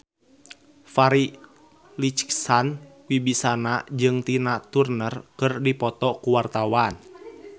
Farri Icksan Wibisana jeung Tina Turner keur dipoto ku wartawan